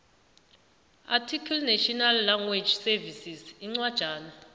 ndearticlenational language servicesincwajana